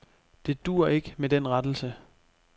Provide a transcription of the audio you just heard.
Det duer ikke med den rettelse.